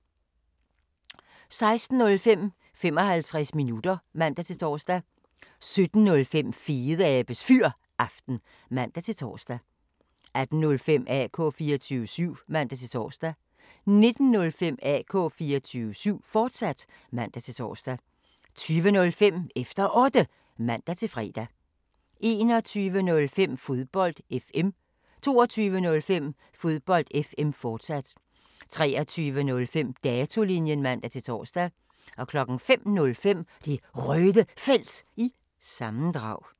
16:05: 55 minutter (man-tor) 17:05: Fedeabes Fyraften (man-tor) 18:05: AK 24syv (man-tor) 19:05: AK 24syv, fortsat (man-tor) 20:05: Efter Otte (man-fre) 21:05: Fodbold FM 22:05: Fodbold FM, fortsat 23:05: Datolinjen (man-tor) 05:05: Det Røde Felt – sammendrag